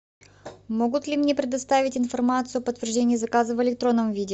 могут ли мне предоставить информацию подтверждения заказа в электронном виде